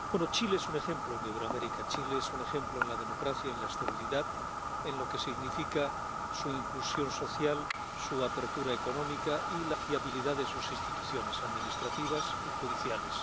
Chile es un ejemplo en Iberoamérica. Chile es un ejemplo en la democracia, en la estabilidad, en lo que significa su inclusión social, su apertura económica y la fiabilidad de sus instituciones administrativas y judiciales.